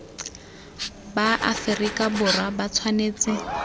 ba aferika borwa ba tshwanetse